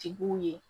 Tigiw ye